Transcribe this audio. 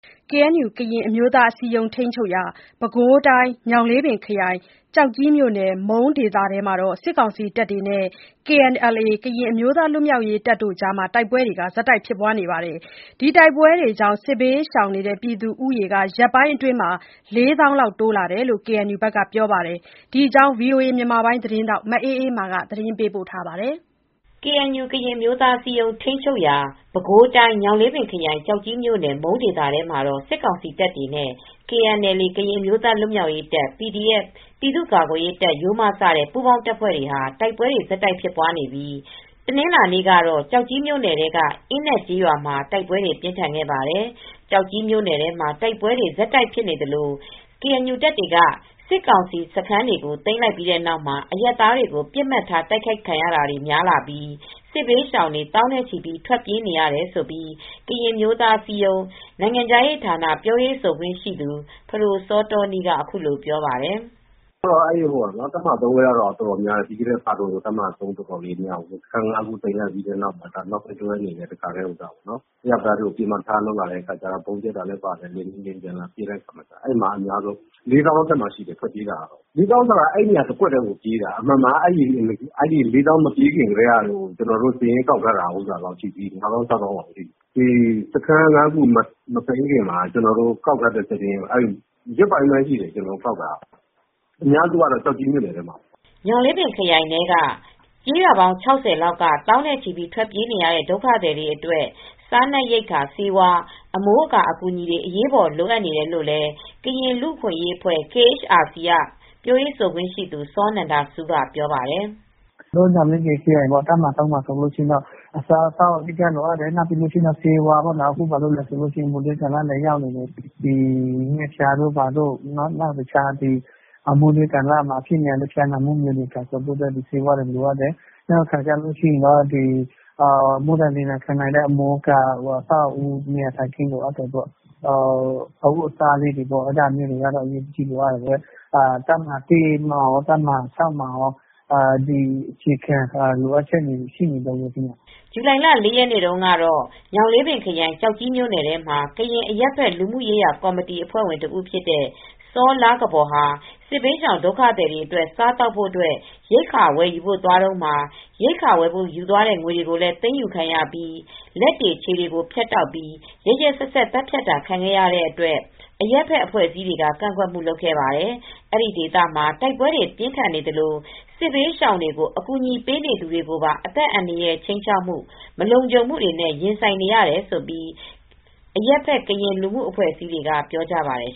KNU ကရင်အမျိုးသားအစည်းအရုံး ထိန်းချုပ်ရာ ပဲခူးတိုင်း ညောင်လေးပင်ခရိုင် ကျောက်ကြီးမြို့နယ် မုန်းဒေသထဲမှာ စစ်ကောင်စီတပ်တွေနဲ့ KNLA ကရင်အမျိုးသားလွတ်မြောက်ရေးတပ်တို့ တိုက်ပွဲတွေ ဆက်တိုက်ဖြစ်ပွားနေပြီး စစ်ဘေးရှောင် ဦးရေဟာ ရက်ပိုင်းအတွင်း ၄ သောင်းလောက်တိုးလာတယ်လို့ KNU ဘက်ကပြောပါတယ်။ ဒီသတင်းကို ဗွီအိုအေသတင်းထောက် မအေးအေးမာက သတင်းပေးပို့ထားပါတယ်။ KNU ကရင်အမျိုးသားအစည်းအရုံး ထိန်းချုပ်ရာ ပဲခူးတိုင်း ညောင်လေးပင်ခရိုင် ကျောက်ကြီးမြိုနယ် မုန်းဒေသထဲမှာ စစ်ကောင်စီတပ်တွေနဲ့ KNLA ကရင်အမျိုးသားလွတ်မြောက်ရေးတပ်၊ PDF ပြည်သူ့ကာကွယ်ရေးတပ် စတဲ့ ပူးပေါင်းတပ်ဖွဲ့တွေ တိုက်ပွဲဆက်တိုက်ဖြစ်ပွားနေပြီး တနင်္လာနေ့ကတော့ ကျောက်ကြီးမြို့ နယ်ထဲ အင်းနက်ကျေးရွာမှာ တိုက်ပွဲတွေပြင်းထန်ခဲ့ပါတယ်။ ကျောက်ကြီးမြို့နယ် ထဲမှာ တိုက်ပွဲတွေ ဆက်တိုက်ဖြစ်နေသလို KNU တပ်တွေက စစ်ကောင်စီ စခန်းတွေကို သိမ်းလိုက်ပြီးတဲ့နောက်မှာ အရပ်သားတွေကို ပစ်မှတ်ထားတိုက်ခိုက်ခံရတာတွေများလာပြီး စစ်ဘေးရှောင်တွေ သောင်းနဲ့ချီပြီး ထွက်ပြေးနေရတယ်လို့ ကရင်အမျိုးသားအစည်းအရုံးနိုင်ငံခြားရေးဌာန ပြောရေးဆိုခွင့်ရှိသူ ဖဒိုစောတောနီးက ပြောပါတယ်။ “တပ်မဟာ ဘက်ကတော့ အတော်များတယ်။ တပ်မဟာ မှာ စခန်း ခုလောက်ကို သိမ်းလိုက်ပြီးတဲ့နောက်မှာ အရပ်သားတွေကို ပစ်မှတ်ထားလာတယ်။ ဗုံးကြဲတာလည်းပါတယ်။ လေယာဉ်တွေ လာပစ်တာလည်းပါတယ်။ အဲဒီမှာ စစ်ဘေးရှောင်ဒုက္ခသည် ၄ သောင်းအထက်မှာရှိတယ်။ အမှန်က အဲဒီ ၄ သောင်းလောက် မပြေးခင်ကတည်းက ကျနော်တို့စာရင်းကောက်ထားတာက ၅ သောင်း - ၆ သောင်းလောက်ရှိတယ်။ စခန်း ၅ ခု မသိမ်းခင်ကတည်းက ကောက်ထားတဲ့စာရင်းက ရက်ပိုင်းလောက်ပဲရှိသေးတယ်။ ကောက်ထားတာ အများစုကတော့ ကျောက်ကြီးမြို့နယ်ထဲမှာပဲ။” ညောင်လေးပင်ခရိုင်ထဲက ကျေးရွာပေါင်း ၆၀ လောက်က သောင်းနဲ့ချီပြီး ထွက်ပြေးနေရတဲ့ ဒုက္ခသည်တွေအတွက် စားနပ်ရိက္ခာဆေးဝါး အမိုးအကာအကူညီတွေအရေးပေါ်လိုအပ်နေတယ်လို့လည်း ကရင်လူ့အခွင့်ရေးအဖွဲ့ KHRC ကပြောရေးဆိုခွင့်ရှိသူ စောနန္ဒဆူးကပြောပါတယ်။ “ညောင်လေးပင်ခရိုင် တပ်မဟာ မှာက အစားအသောက်ကတော့ အဓိက လိုအပ်တယ်။ ဆေးဝါးလည်းလိုတယ်။ အခုက ငှက်ဖျားတွေဖြစ်တယ်။ နောက် တခြား မိုးတွင်းကာလမှာအဖြစ်များတဲ့ ဖျားနာမှုတွေအတွက်လည်း ဆေးဝါးတွေ လိုအပ်တယ်။ နောက်ပြီး မိုးဒဏ်လေဒဏ်ခံနိုင်တဲ့ အမိုးအကာတွေလည်း လိုအပ်တယ်။ တပ်မဟာ မှာကော၊ တပ်မဟာ မှာကော လိုအပ်ချက်တွေကတော့ ရှိနေတုန်းပါပဲ။” ဇူလိုင်လ ၄ ရက်နေ့တုန်းကတော့ ညောင်လေးပင်ခရိုင် ကျောက်ကြီးမြိုနယ်ထဲမှာကရင်အရပ်ဘက် လူမှုရေးရာကော်မတီက အဖွဲ့ဝင်တဦးဖြစ်တဲ့ စောလားကဘော် ဟာ စစ်ဘေးရှောင်ဒုက္ခသည်တွေအတွက် ရိက္ခာဝယ်ယူဖို့သွားတုန်းမှာ ရိက္ခာဝယ် ဖို့ယူမယ့် ငွေတွေလည်း သိမ်းယူခံရပြီး လက်တွေ ခြေတွေကိုဖြတ်တောက်ပြီး ရက်ရက်စက်စက် သတ်ဖြတ်တာခံခဲ့ရတဲ့အတွက် အရပ်ဖက်အဖွဲ့အစည်းတွေက ကန့်ကွက်ခဲ့ပါတယ်။ အဲဒီဒေသမှာ တိုက်ပွဲတွေပြင်းထန်နေသလို စစ်ဘေးရှောင်တွေကို အကူညီပေးနေသူတွေပါ အသက်အန္တာရာယ် ခြိမ်းခြောက်ခံရမှု၊ မလုံခြုံမှုတွေနဲ့ရင်ဆိုင်နေရတယ်လို့ အရပ်ဘက် ကရင်လူမှုအဖွဲ့အစည်းတွေကလည်း ပြောပါတယ်